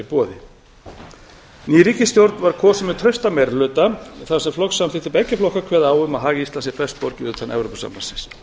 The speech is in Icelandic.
boði ný ríkisstjórn var kosin með traustan meiri hluta þar sem flokkssamþykktir beggja flokka kveða á um að hag íslands sé best borgið utan evrópusambandsins